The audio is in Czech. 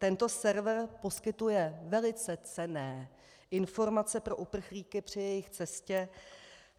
Tento server poskytuje velice cenné informace pro uprchlíky při jejich cestě